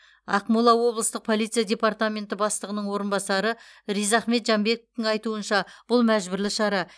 ақмола облыстық полиция департаменті бастығының орынбасары ризахмет жанбековтің айтуынша бұл мәжбүрлі шара